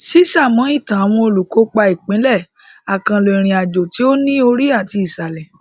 ṣíṣamọ ìtàn àwọn olùkópa ìpínlẹ àkànlò ìrìnàjò tí ó ní orí àti ìsàlẹ